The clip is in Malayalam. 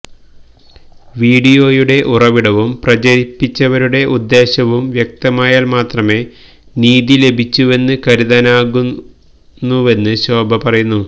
വീഡിയോയുടെ ഉറവിടവും പ്രചരിപ്പിച്ചവരുടെ ഉദ്ദേശവും വ്യക്തമായാൽ മാത്രമെ നീതി ലഭിച്ചുവെന്ന് കരുതാനാകുവെന്ന് ശോഭ പറയുന്നു